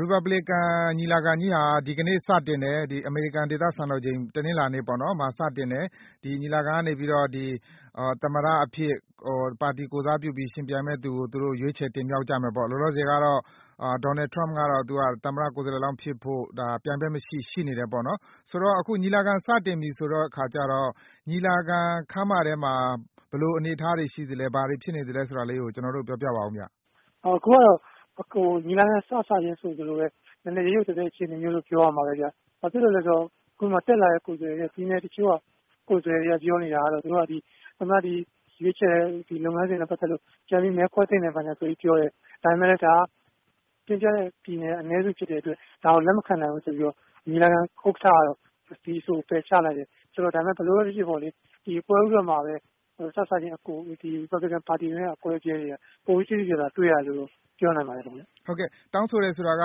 ရီပတ်ဘလစ်ကန် ညီလာခံကြီးဟာ အမေရိကန် စံတော်ချိန် တနင်္လာနေ့မှာ စတင်တယ်။ ဒီကနေ သမ္မတအဖြစ် ပါတီ ကိုယ်စားပြု ယှဉ်ပြိုင်မယ့်သူကို ရွေးခြယ် တင်မြှောက်ကြမယ်ပေါ့။ လောလောဆယ်ကတော့ ဒေါ်နယ် ထရမ့်က သမ္မတလောင်းဖြစ်ဖို့ ပြိုင်ဘက်မရှိ ရှိနေတယ်ပေါ့။ အခု ညီလာခံ စတင်ပြီဆိုတော့ ညီလာခံ ခန်းမထဲမှာ ဘယ်လို အနေအထားရှိသလဲ၊ ဘာတွေ ဖြစိနေသလဲ ဆိုတာလေး ပြောပြပေးပါ။ ကိုအောင်လွင်ဦး။ အခုကတော့ ညီလာခံ စစချင်း ဆိုသလိုပဲ ရုတ်ရုတ်သဲသဲ အခြေအနေလို့ ပြောရမှာပဲ။ ဘာဖြစ်လို့လဲ ဆိုတော့ တက်လာတဲ့ ကိုယ်စားလှယ် တွေက ပြောနေတာကတော့ ဒီရွေးခြယ်တဲ့ လုပ်ငန်းစဉ်နဲ့ပက်သက်လို့ ပြန်ပြီး မဲခွဲသင့်တယ်ဆိုပြီး ပြောတယ်။ ဒါပေမယ့်လည်း တင်ပြတဲ့ ပြည်နယ်က အနည်းစု ဖြစ်တဲ့အတွက် ညီလာခံ ဥက္ကဌက ဒီအဆိုကို လက်မခံနိုင်ပဲနဲ့ ပယ်ချလိုက်တယ်။ ဒါပေမယ့်လည်း ဘာပဲ ဖြစ်ဖြစ် ပေါ့လေ။ စစချင်းမှာပဲ ရီပတ်ဘလစ်ကန် ပါတီရဲ့ အကွဲအပြဲတွေကို ပိုပြီး သိသိသာသာ တွေ့ရတယ်လို့ ပြောနိုင်ပါတယ်။ မေး။ တောင်းဆိုတယ်ဆိုတာက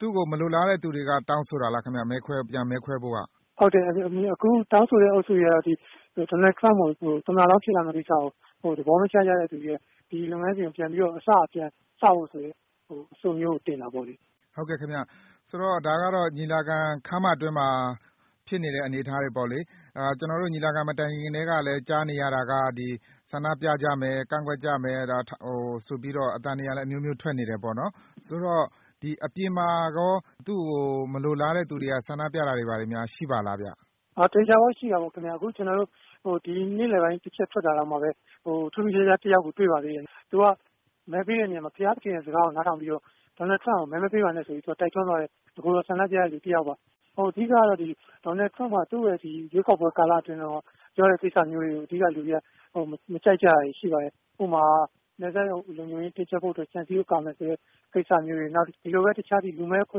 သူ့ကို မလိုလားတဲ့ အုပ်စုတွေက တောင်းဆိုတာ လား ခင်ဗျ။ ပြန်မဲခွဲဖို့က။ ကိုအောင်လွင်ဦး။ ဟုတ်ပါတယ်။ တောင်းဆိုတဲ့ အုပ်စုတွေက ဒေါ်နယ်ထရမ့်ကို သမ္မတ လောင်းဖြစ်လာမယ့် ကိစ္စကို သဘောမကျကြတဲ့ သူတွေ၊။ ဒီလုပ်ငန်းစဉ်ကို အစကနေ ပြန်ပြီး စကြဖို့ ဆိုတဲ့ အဆိုမျိုးကို တင်တာပေါ့လေ။ မေး။ ဒါကတော့ ညီလာခံ ခမ်းမထဲမှာ ဖြစ်နေတဲ့ အနေအထားတွေ ပေါ့လေ။ ကျွန်တော်တို့ ညီလာခံ မတိုင်ခင် ကတည်းက ကြားနေရတာက ဆန္ဒပြကြမယ်။ ကန့်ကွက်ကြမယ် ဆိုပြီး တော့ အသံတွေလည်း အမျိုးမျိုး ထွက်နေတယ် ပေါ့လေ။ အပြင်မှာလဲ သူ့ကို မလိုလားတဲ့ သူတွေက ဆန္ဒပြတာတွေကော ရှိပါသလား ။ ကိုအောင်လွင်ဦး။ ရှိတာပေါ့။ အခု ကျွန်တော်တို့ ဒီနေ့လည်ပိုင်း တစ်ချက် ထွက်တာတောင်မှ ထူးထူးခြားခြား တစ်ယောက်ကို တွေ့ပါသေးတယ်။ သူက မဲပေးတဲ့နေရာမှာ ဘုရားသခင်ရဲ့ စကားကို နားထောင်ပြီး ဒေါ်နယ်ထရမ့်ကို မဲမပေးပါနဲ့ ဆိုပြီး တိုက်တွန်းသွားတဲ့ တကိုယ်တော် ဆန္ဒပြတဲ့ သူတစ်ယောက်ပါ။ အဓိကက ဒေါ်နယ်ထရမ့် ရွေးကောက်ပွဲ ကာလတုန်းက ပြောတဲ့ စကားတွေကို လူတွေက မကြိုက်ကြတာပါ။ ဥပမာ နယ်စပ် လုံခြုံရေး တင်းကြပ်ဖို့ အတွက် ခြံစည်းရိုး ကာမယ်ဆိုတဲ့ ကိစ္စတွေ၊ လူမည်း အခွ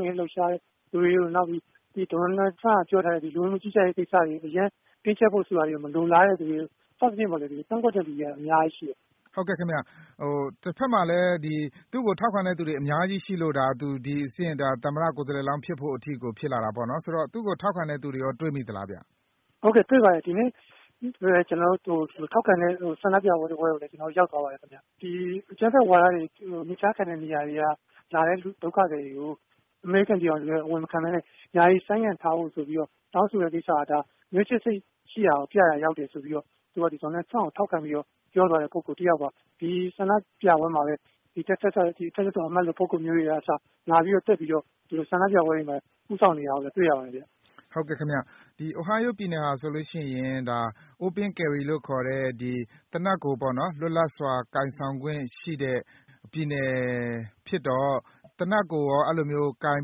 င့်အရေး လှုပ်ရှားတဲ့ သူတွေ၊ နောက်ပြီး ဒေါ်နယ်ထရမ့်က ပြောထားတဲ့ လူဝင်မှု ကြီးကြပ်ရေး ကိစ္စတွေကို တင်းကြပ်ဖို့ ဆိုတာတွေကို မလိုလားတဲ့ သူတွေ၊ စသဖြင့် ပေါ့လေ ကန့်ကွက်တဲ့သူကတော့ အများကြီး ရှိတယ်။ မေး။ ဟုတ်ကဲ့ ခင်ဗျ။ တစ်ဖက်မှာလည်း သူ့ကို ထောက်ခံတဲ့ သူတွေလည်း အများကြီး ရှိလို့ ခုလို သမ္မတ ကိုယ်စားလှယ် လောင်း ဖြစ်တဲ့ အထိ ဖြစ်လာ တာပေါ့နော်။ သူ့ကို ထောက်ခံတဲ့ သူတွေကော တွေ့မိသလားဗျ။ ကိုအောင်လွင်ဦး။ တွေ့ပါတယ်။ ဒီနေ့ သူ့ကို ထောက်ခံတဲ့ ဆန္ဒပြပွဲ တစ်ပွဲကိုလည်း ရောက်သွားပါတယ်။ အကြမ်းဖက်ဝါဒ တွေ မြစ်ဖျားခံ တဲ့ နေရာတွေက လာတဲ့ ဒုက္ခသည်တွေကို အမေရိကန် ပြည်ထောင်စုထဲ အဝင်မခံပဲ ယာယီ ဆိုင်းငံ့ထားဖို့ တောင်းဆိုတာကို မျိုးချစ်စိတ် ရှိတာကို ပြရာ ရောက်တယ် ဆိုပြီးတော့ သူက ထရမ့်ကို ထောက်ခံ ပြီးတော့ ပြောသွားတဲ့ ပုဂ္ဂိုလ် တစ်ယောက်ပါ။ ဒီ ဆန္ဒပြပွဲမှာပဲ ဒီ တက္ကသိုလ် အမတ်လို ပုဂ္ဂိုလ်မျိုးတွေက အစ လာပြီး တက်ပြီးတော့ ဆန္ဒပြပွဲတွေမှာ ဦးဆောင်နေတာကို တွေ့ရပါတယ်။ မေး။ ဟုတ်ကဲ့ ခင်ဗျ။ ဒီ Ohio ပြည်နယ်ဟာ ဆိုရင် Open carry လို့ခေါ်တဲ့ သေနတ်ကို သယ်ဆောင်ပြီး သွားလာခွင့်ရှိတဲ့ ပြည်နယ်ဖြစ်တော့ အဲဒီလိုမျိုးကော သေနတ်ကို ကိုင်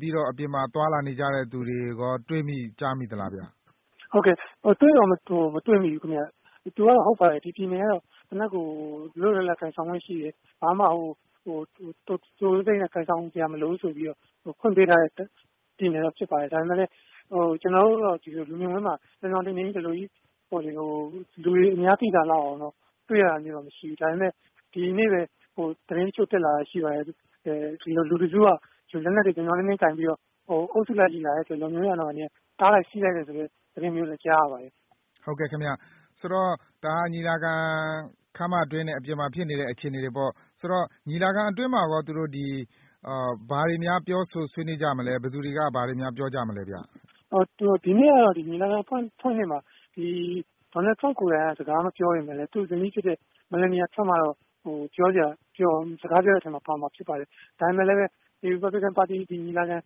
ပြီး၊ အပြင်မှာ သွားလာနေကြတဲ့ သူတွေကော တွေ့မိ ကြားမိသလား ခင်ဗျ။ ကိုအောင်လွင်ဦး။ တွေ့တော့ မတွေ့မိဘူး ခင်ဗျ။ ဟုတ်ပါတယ်။ ဒီ ပြည်နယ်က သေနတ်ကို လွတ်လွတ်လပ်လပ်ကိုင်ဆောင်ခွင့် ရှိတယ်။ ဘာမှ သိုသိုသိပ်သိပ်နဲ့ ကိုင်ဆောင်စရာ မလိုဘူးဆိုပြီးတော့ ဖွင့်ပေးထားတဲ့ ပြည်နယ် လဲ ဖြစ်ပါတယ်။ ဒါပေမယ့်လည်း ကျွန်တော်တို့တော့ လူမြင်ကွင်းမှာ ပြောင်ပြောင် တင်းတင်း လူတွေအများ သိသာလောက်အောင် တွေ့ရတာမျိုးတော့ မရှိဘူး။ ဒါပေမယ့်လည်း ဒီနေ့ပဲ သတင်းအချို့ တက်လာတာ ရှိပါတယ်။ ဒီလို လူတစ်စုက လက်နက်တွေ ပြောင်ပြောင်တင်းတင်း ကိုင်ပြီး အုပ်စုလိုက်ကြီး လာတယ်ဆိုရင် တားလိုက် ဆီးလိုက်မယ် ဆိုတဲ့ သတင်းမျိုးလဲ ကြားရပါတယ်။ မေး။ ဒါကတော့ ညီလာခံ ခန်းမတွင်းနဲ့ အပြင်မှာ ဖြစ်နေတဲ့ အခြေအနေတွေပေါ့။ ညီလာခံ အတွင်းမှာကော ဘာတွေများ ပြောဆို ဆွေးနွေးကြမလဲ။ ဘယ်သူတွေက ဘာတွေများ ပြောကြမလဲ ခင်ဗျ။ ကိုအောင်လွင်ဦး။ ဒီနေ့ကတော့ ညီလာခံ အဖွင့်နေ့မှာ ဒေါ်နယ်ထရမ့်က ကိုယ်တိုင် စကားမပြောပေမယ့်၊ သူ့ဇနီး Melania Trump ကတော့ စကားပြောတဲ့ အထဲမှာ ပါမှာ ဖြစ်ပါတယ်။ ဒါပေမယ့်လည်း ရီပတ်ဘလစ်ကန် ပါတီ ညီလာခံ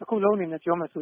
တစ်ခုလုံးအနေနဲ့ ပြောမယ်ဆို